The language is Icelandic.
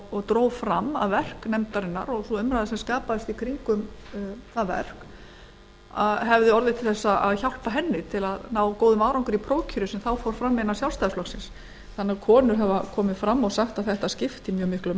og dró fram að vinna nefndarinnar og sú umræða sem skapaðist í kringum þá vinnu hefði orðið til þess að hjálpa henni að ná góðum árangri í prófkjöri sem þá fór fram innan sjálfstæðisflokksins konur hafa því komið fram og sagt að þetta skipti mjög miklu